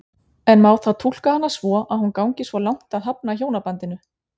En má þá túlka hana svo að hún gangi svo langt að hafna hjónabandinu?